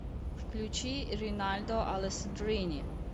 включи ринальдо алессандрини